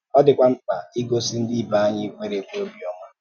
Ọ dị́kwà mkpa ígòsí ndị ìbè anyị kwèrè-èkwe ọ̀bịọ́mà.